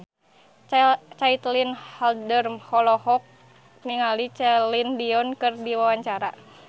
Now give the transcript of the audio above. Caitlin Halderman olohok ningali Celine Dion keur diwawancara